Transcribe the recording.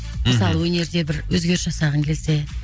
мхм мысалы өнерді бір өзгеріс жасағың келсе